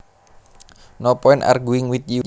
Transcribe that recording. No point arguing with you